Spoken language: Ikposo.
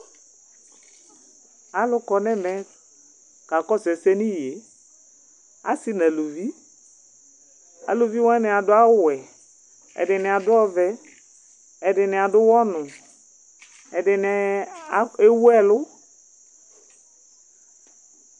Alʋ kɔ n'ɛmɛ k'akɔsʋ ɛsɛ n'iye, asi n'aluvi Aluvi wani adʋ awʋ wɛ, ɛdini adʋ ɔvɛ, ɛdini adʋ ʋwɔ nʋ, ɛdini ewu ɛlʋ